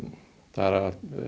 það er